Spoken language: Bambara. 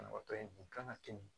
Banabaatɔ in kun kan ka kɛ ten